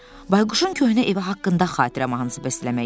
Bayquşun köhnə evi haqqında xatirə mahnısı bəstələmək istəyirdi.